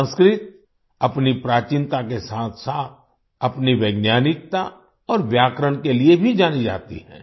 संस्कृत अपनी प्राचीनता के साथसाथ अपनी वैज्ञानिकता और व्याकरण के लिए भी जानी जाती है